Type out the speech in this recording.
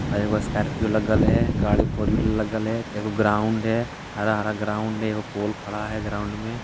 और एगो स्कार्पियो लगल है गाड़ी फोर व्हीलर लगल है एको ग्राउंड है हरा-हरा ग्राउंड है एगो पोल खड़ा है ग्राउंड में।